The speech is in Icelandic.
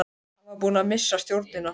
Hann var búinn að missa stjórnina.